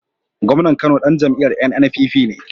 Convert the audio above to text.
Gomnan Kano Dan jam'iyar NNPP ne